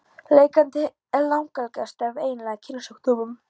Lekandi er langalgengastur af eiginlegum kynsjúkdómum.